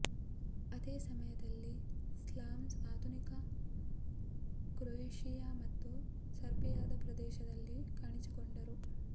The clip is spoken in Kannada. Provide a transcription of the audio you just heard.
ಅದೇ ಸಮಯದಲ್ಲಿ ಸ್ಲಾವ್ಸ್ ಆಧುನಿಕ ಕ್ರೊಯೇಷಿಯಾ ಮತ್ತು ಸರ್ಬಿಯಾದ ಪ್ರದೇಶದಲ್ಲಿ ಕಾಣಿಸಿಕೊಂಡರು